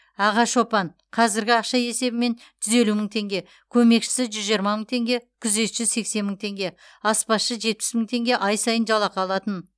аға шопан қәзіргі ақша есебімен жүз елу мың теңге көмекшісі жүз жиырма мың теңге күзетші сексен мың теңге аспазшы жетпіс мың теңге ай сайын жалақы алатын